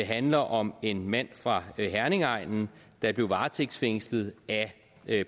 handler om en mand fra herningegnen der blev varetægtsfængslet af